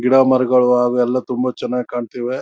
ಗಿಡ ಮರಗಳು ಅವು ಎಲ್ಲ ತುಂಬಾ ಚನ್ನಾಗ್ ಕಾಣ್ತಿವೆ.